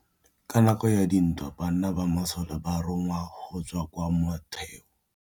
Ka nakô ya dintwa banna ba masole ba rongwa go tswa kwa mothêô.